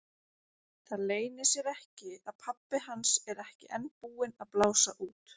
Það leynir sér ekki að pabbi hans er ekki enn búinn að blása út.